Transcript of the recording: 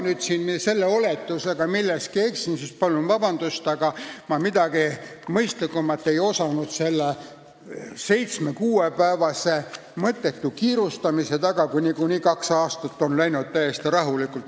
Kui ma selle oletusega milleski eksin, siis palun vabandust, aga ma ei osanud mingit mõistlikumat seletust sellele 6–7-päevasele mõttetule kiirustamisele leida, kui kaks aastat on möödunud täiesti rahulikult.